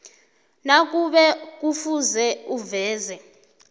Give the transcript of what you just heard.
nakube kufuze uveze